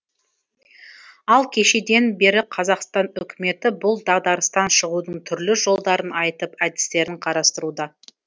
ал кешеден бері қазақстан үкіметі бұл дағдарыстан шығудың түрлі жолдарын айтып әдістерін қарастыруда